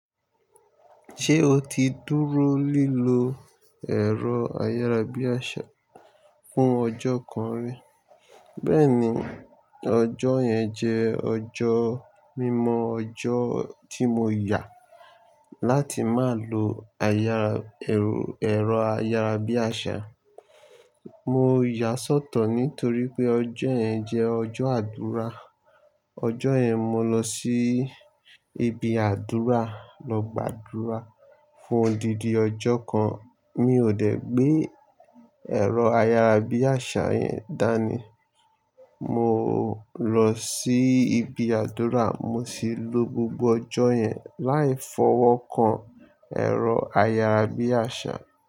Ṣé o ti dúró lílọ ẹ̀rọ ayárabíàṣá fún ọjọ́ kan rí? Bẹ́ẹ̀ni, ọjọ́ yẹn jẹ́ ọjọ́ mímọ ọjọ́ tí mo yà láti má lo ẹ̀rọ ayárabíàṣá. Mo yà sọ́tọ̀ nítorí pé ọjọ́ yẹn jẹ́ ọjọ́ àdúrà. Ọjọ́ yẹn mo lọ sí ibi àdúrà lọ gbàdúrà fún odídì ọjọ́ kan. Mi ò dẹ̀ gbé ẹ̀rọ ayárabíàṣá yẹn dání. Mo lọ sí ibi àdúrà mo sì lo gbogbo ọjọ́ yẹn láì fọwọ́ kan ẹ̀rọ ayárabíàṣá.